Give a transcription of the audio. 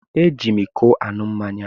Eji m ịkọ aṅụ mmáñyá.